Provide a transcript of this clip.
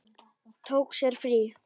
Tók sér frí.